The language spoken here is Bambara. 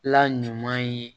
La ɲuman ye